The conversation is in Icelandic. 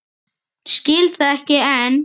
Skil það ekki enn.